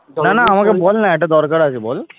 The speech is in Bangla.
বলনা একটা দরকার আছে বল